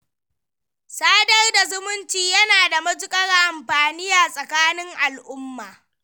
Sadar da zumunci yana da matuƙar amfani a tsakanin al'umma.